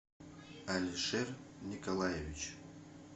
алишер николаевич